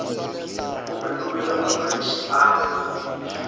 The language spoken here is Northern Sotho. o fetogile mohlaki a nyentšha